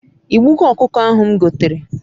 I gbugo okuko ahu m gotere?